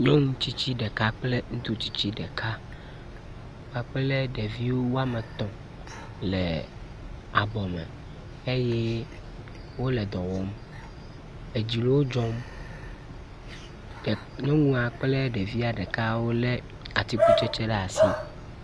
nyɔŋu tsitsi ɖeka kple ŋutsu tsitsi ɖeka kpakple ɖevi woametɔ̃ le abɔme eye wóle dɔwɔm edzi le wó dzɔm nyɔŋua ɖeka kple ɖeviwo le atsikutsetsi ɖe asi